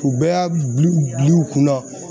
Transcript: U bɛɛ y'a bil'u bil'u kunna